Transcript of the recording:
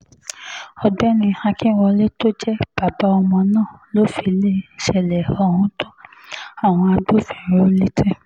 ọ̀gbẹ́ni akínwọlé tó jẹ́ bàbá ọmọ náà ló fìṣẹ̀lẹ̀ ohun tó àwọn agbófinró létí